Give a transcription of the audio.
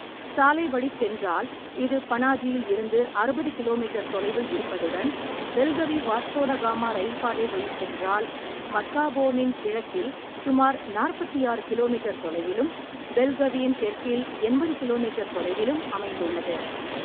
சாலை வழிச் சென்றால் இது பனாஜியில் இருந்து அறுபது கிலோ மீட்டர் தொலைவில் இருப்பதுடன் பெல்கவி வாஸ்கோடகாமா ரயில் பாதை வழிச் சென்றால் மட்காவோனின் கிழக்கில் சுமார் நாற்பத்தி ஆறு கிலோ மீட்டர் தொலைவிலும், பெல்கவியின் தெற்கில் எண்பது கிலோ மீட்டர் தொலைவிலும் அமைந்துள்ளது.